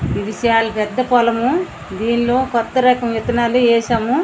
ఇధిఉ చాల పేద పూలము దీనిలో రకమైన వితనల్లు వేసు.